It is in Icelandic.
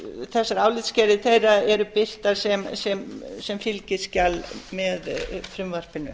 þessar álitsgerðir þeirra eru birtar sem fylgiskjal með frumvarpinu